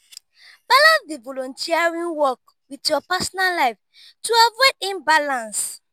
balance di volunteering work with your personal life to avoid imbalance